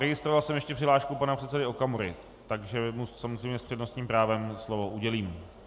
Registroval jsem ještě přihlášku pana předsedy Okamury, takže mu samozřejmě s přednostním právem slovo udělím.